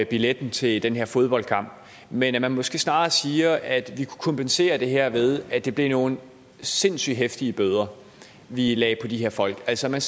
billetten til den her fodboldkamp men at man måske snarere siger at vi kunne kompensere det her ved at det blev nogle sindssyg heftige bøder vi lagde på de her folk altså at man